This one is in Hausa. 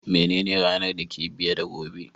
Menene ranan da ke biye da gobe?